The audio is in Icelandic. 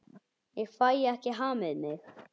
Ég fæ ekki hamið mig.